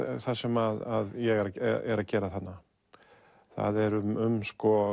það sem ég er er að gera þarna það er um